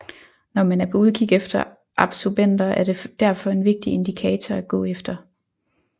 Når man er på udkig efter absobenter er det derfor en vigtig indikator at gå efter